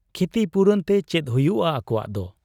ᱠᱷᱤᱛᱤᱯᱩᱨᱚᱱ ᱛᱮ ᱪᱮᱫ ᱦᱩᱭᱩᱜ ᱟ ᱟᱠᱚᱣᱟᱜ ᱫᱚ ?